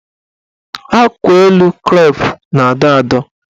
Akwaelu krep na-adọ adọ.